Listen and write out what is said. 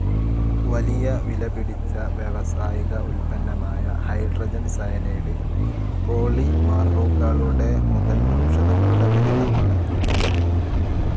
വലിയ വിലപിടിച്ച വ്യാവസായിക ഉൽപ്പന്നമായ ഹൈഡ്രോജൻ സയനൈഡ്‌ പോളിമറുകളുടെ മുതൽ ഔഷധങ്ങളുടെ വരെ നിർമ്മാണത്തിന് ഉപയോഗിക്കുന്നു.